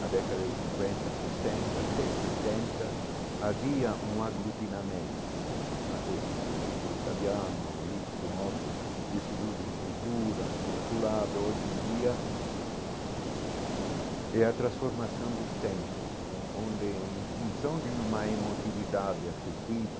Na década de cinquenta, sessenta, até setenta, havia um aglutinamento né, até assim no círculo italiano, isso, outro instituto de cultura, no consulado, hoje em dia, é a transformação dos tempos né, onde, em função de uma emotividade afetiva,